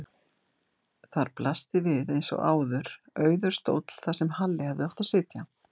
Þar blasti við eins og áður auður stóll þar sem Halli hefði átt að sitja.